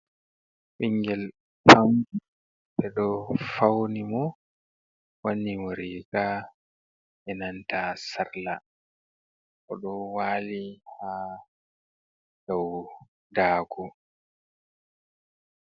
Bingel pam ɓe ɗo fauni imo wani muriga enanta sarla o ɗo wali ha dau dago.